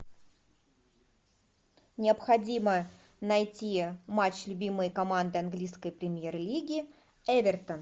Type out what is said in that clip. необходимо найти матч любимой команды английской премьер лиги эвертон